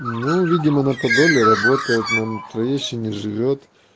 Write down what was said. ну видимо на подоле работает на мм троещине живёт